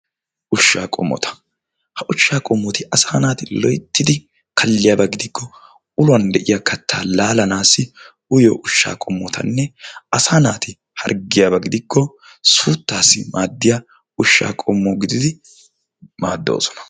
gooshshaa qommota. ha goshshaa qommoti asaa naati loyttidi kalliyaaba giidiko uluwaan de'iyaa kaattaa lalaanasi uyiyoo ushshaa qommotane asaa naati hargiyaaba gidikko suutaasi maadiyaa uushshaa qommo gididi maadoosona.